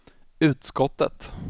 utskottet